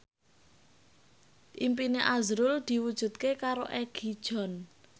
impine azrul diwujudke karo Egi John